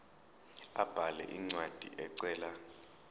abhale incwadi ecela